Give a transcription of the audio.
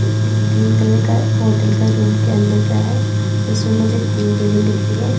Green colour का hotel का room का अंदर का है जिसमें मुझे तीन टेबल दिख रही है।